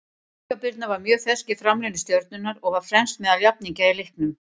Inga Birna var mjög fersk í framlínu Stjörnunnar og var fremst meðal jafningja í leiknum.